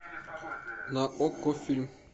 на окко фильм